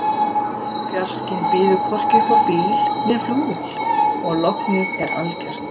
Fjarskinn býður hvorki upp á bíl né flugvél og lognið er algert.